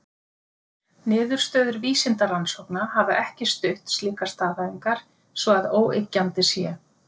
Niðurstöður vísindarannsókna hafa ekki stutt slíkar staðhæfingar svo að óyggjandi sé.